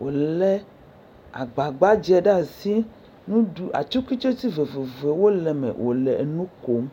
wolé agba gbadzɛ ɖe asi nu ɖuu atikutsetse vovovowo le eme wole nu kom.